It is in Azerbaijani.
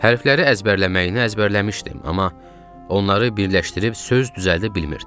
Hərfləri əzbərləməyini əzbərləmişdim, amma onları birləşdirib söz düzəldə bilmirdim.